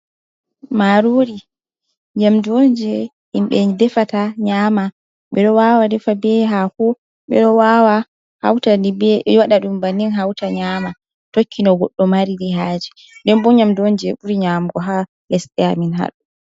Marori nyamdu on je himɓe defata nyama. Ɓe ɗo wawa defa be hako, ɓe ɗo wawa hauta waɗa ɗum bannin hauta nyama, tokki no goɗɗo mariri haje nden bo nyamdu on je ɓuri nyamugo ha lesɗe amin ha ɗo.